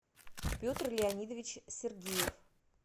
петр леонидович сергеев